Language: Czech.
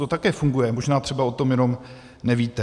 To také funguje, možná třeba jenom o tom nevíte.